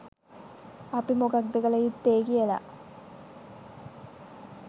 අපි මොකක්ද කළ යුත්තේ කියලා